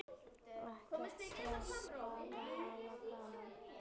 Ekkert stress, bara hafa gaman!